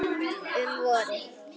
Um vorið